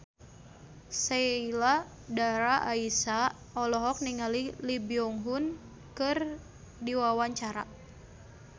Sheila Dara Aisha olohok ningali Lee Byung Hun keur diwawancara